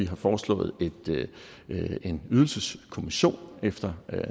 har foreslået en ydelseskommission efter